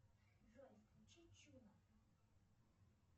джой включи чуна